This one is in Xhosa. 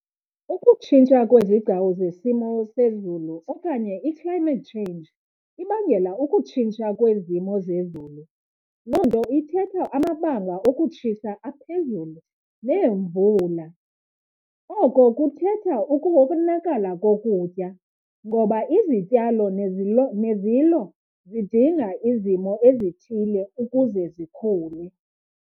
Ukutshintsha kwezigcawu zesimo sezulu okanye i-climate change ibangela ukutshintsha kwezimo zezulu. Loo nto ithetha amabanga okutshisa aphezulu neemvula. Oko kuthetha ukonakala kokutya ngoba izityalo nezilo zidinga izimo ezithile ukuze zikhule.